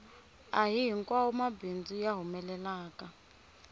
ahihi nkwawomabindzu ya humelelaka